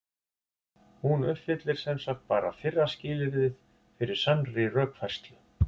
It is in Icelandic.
Hún uppfyllir sem sagt bara fyrra skilyrðið fyrir sannri rökfærslu.